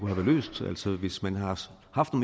her og